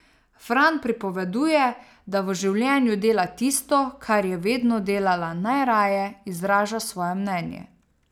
Fran pripoveduje, da v življenju dela tisto, kar je vedno delala najraje, izraža svoje mnenje.